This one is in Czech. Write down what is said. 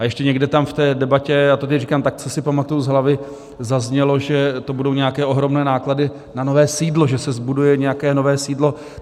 A ještě někde tam v té debatě, já to teď říkám tak, co si pamatuji z hlavy, zaznělo, že to budou nějaké ohromné náklady na nové sídlo, že se zbuduje nějaké nové sídlo.